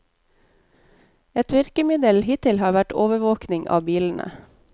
Et virkemiddel hittil har vært overvåking av bilene.